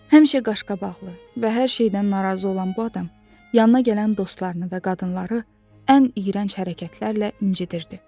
Həmişə qaşqabaqlı və hər şeydən narazı olan bu adam yanına gələn dostlarını və qadınları ən iyrənc hərəkətlərlə incitirdi.